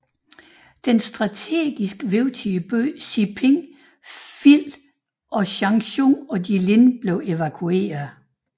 Den strategisk vigtige by Siping faldt og Changchun og Jilin blev evakuerede